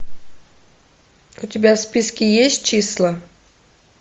у тебя в списке есть числа